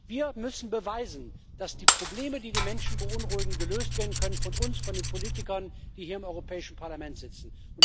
Wir müssen beweisen, dass die Probleme, die die Menschen beunruhigen, gelöst werden können von uns, von den Politikern, die hier im Europäischen Parlament sitzen.